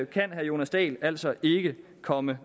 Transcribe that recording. kan herre jonas dahl altså ikke komme